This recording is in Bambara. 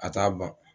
A t'a ban